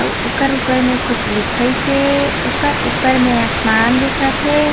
अउ ओकर ऊपर में कुछ लिखइसे ओकर ऊपर में आसमान दिखत हे।